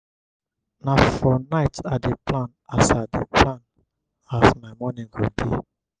na for night i dey plan as dey plan as my morning go be.